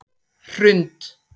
Hrund